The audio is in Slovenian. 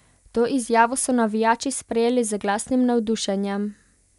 To izjavo so navijači sprejeli z glasnim navdušenjem.